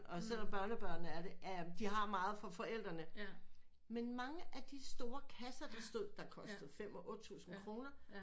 Og selvom børnebørnene er det øh de har meget fra forældrene men mange af de store kasser der stod der kostede fem og otte tusind kroner